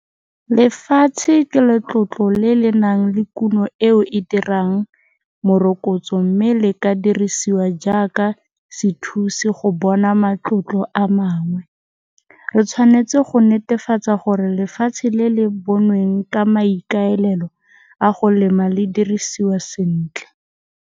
Lefatshe ke letlotlo le le nang le kuno eo e dirang morokotso mme le ka dirisiwa jaaka sethusi go bona matlotlo a mangwe. Re tshwanetse go netefatsa gore lefatshe le le bonweng ka maikalelo a go lema le dirisiwa sentle.